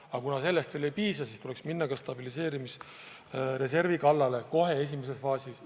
Aga kuna sellest veel ei piisa, siis tuleks minna ka stabiliseerimisreservi kallale, kohe esimeses faasis.